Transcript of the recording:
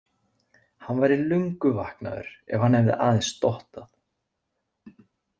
Hann væri löngu vaknaður ef hann hefði aðeins dottað.